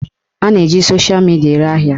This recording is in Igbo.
A na-eji sosha midia ere ahịa